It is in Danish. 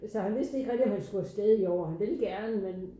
Så han vidste ikke rigtig om han skulle afsted i år han ville gerne men